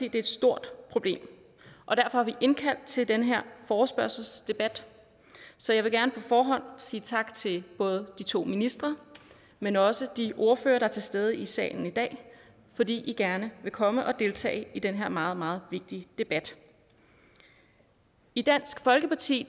er et stort problem og derfor har vi indkaldt til den her forespørgselsdebat så jeg vil gerne på forhånd sige tak til både de to ministre men også de ordførere der er til stede i salen i dag fordi i gerne vil komme og deltage i den her meget meget vigtige debat i dansk folkeparti